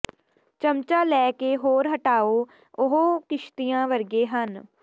ਚਮਚਾ ਲੈ ਕੇ ਕੋਰ ਹਟਾਓ ਉਹ ਕਿਸ਼ਤੀਆਂ ਵਰਗੇ ਸਨ